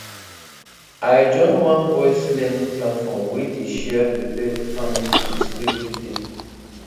i join one voice learning platform wey dey share pepper farming tips every day